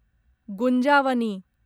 गुंजावनी